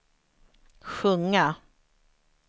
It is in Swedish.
sjunga